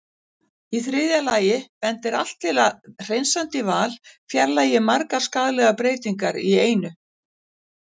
Í þriðja lagi bendir allt til að hreinsandi val fjarlægi margar skaðlegar breytingar í einu.